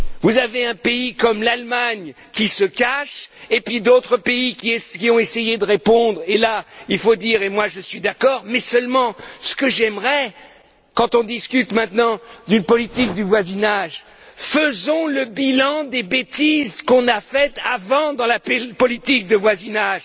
Vous avez un pays comme l'Allemagne qui se cache, et puis d'autres pays qui ont essayé de répondre, et là, je suis d'accord, mais seulement, ce que j'aimerais, quand on discute maintenant d'une politique de voisinage, c'est que nous fassions le bilan des bêtises qu'on a faites avant dans la politique de voisinage.